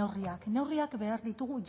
neurriak neurriak behar ditugu